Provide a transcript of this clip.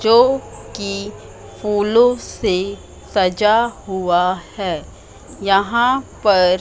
जोकि फूलों से सजा हुआ है यहां पर--